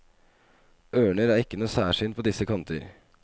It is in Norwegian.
Ørner er ikke noe særsyn på disse kanter.